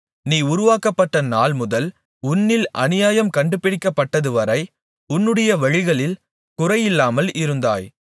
நீ உருவாக்கப்பட்ட நாள் முதல் உன்னில் அநியாயம் கண்டுபிடிக்கப்பட்டதுவரை உன்னுடைய வழிகளில் குறையில்லாமல் இருந்தாய்